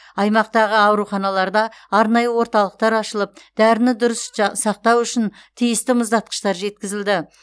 аймақтағы ауруханаларда арнайы орталықтар ашылып дәріні дұрыс сақтау үшін тиісті мұздатқыштар жеткізілді